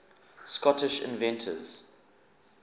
scottish inventors